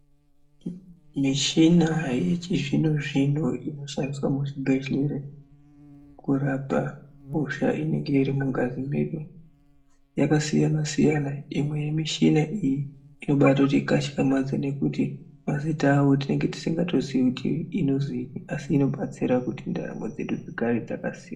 Michina yechizvino zvino inoshandiswa muzvibhedhlera kurapa hosha inenge iri mungazi medu yakasiyana siyana imwe yemichina iyi inobatoti katyamadza nekuti mazita awo tinenge tisingatozivi kuti inozii asi inobatsira kuti ndarambo dzedu dzigare dzakasimba.